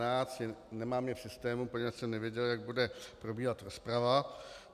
Nemám je v systému, poněvadž jsem nevěděl, jak bude probíhat rozprava.